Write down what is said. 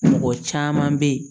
Mɔgɔ caman bɛ ye